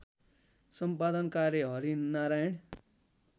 सम्पादन कार्य हरिनारायण